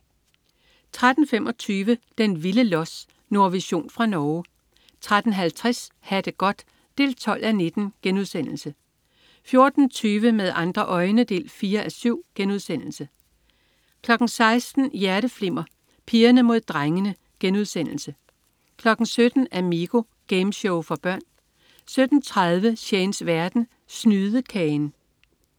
13.25 Den vilde los. Nordvision fra Norge 13.50 Ha' det godt 12:19* 14.20 Med andre øjne 4:7* 16.00 Hjerteflimmer: Pigerne mod drengene* 17.00 Amigo. Gameshow for børn 17.30 Shanes verden. Snydekagen